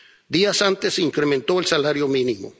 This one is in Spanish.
Días antes se incrementó el salario mínimo.